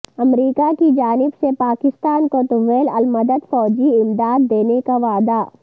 امریکہ کی جانب سے پاکستان کو طویل المدت فوجی امداد دینے کا وعدہ